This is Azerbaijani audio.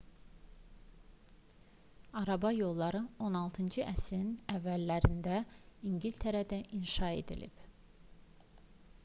araba yolları 16-cı əsrin əvvəllərində i̇ngiltərədə inşa edilib